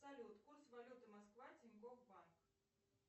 салют курс валюты москва тинькофф банк